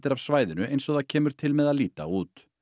af svæðinu eins og það kemur til með að líta út